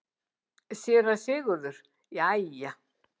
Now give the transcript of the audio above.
SÉRA SIGURÐUR: Jæja!